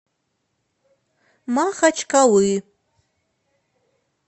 махачкалы